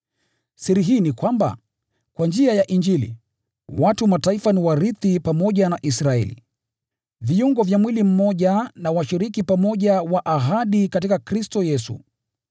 Siri hii ni kwamba, kwa njia ya Injili, watu wa Mataifa ni warithi pamoja na Israeli, viungo vya mwili mmoja na washiriki pamoja wa ahadi katika Kristo Yesu.